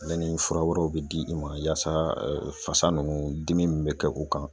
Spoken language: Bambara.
Ale ni fura wɛrɛw bi di i ma yaasa fasa ninnu dimi min bɛ kɛ u kan